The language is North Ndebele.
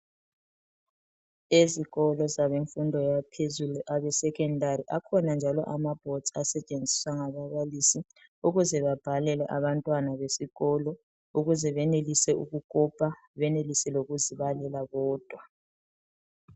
Esikolo sabafundi abaphezulu abe secondary akhona njalo amabhodizi asetshenziswa ngababalisi ukuze babhalele abantwana besikolo ukuze benelise ukukopa benelise lokuzibalela bodwa.